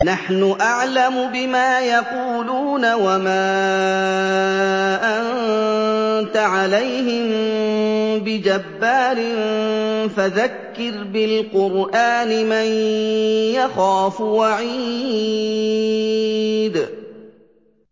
نَّحْنُ أَعْلَمُ بِمَا يَقُولُونَ ۖ وَمَا أَنتَ عَلَيْهِم بِجَبَّارٍ ۖ فَذَكِّرْ بِالْقُرْآنِ مَن يَخَافُ وَعِيدِ